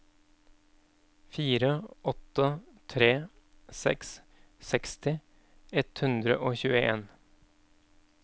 fire åtte tre seks seksti ett hundre og tjueen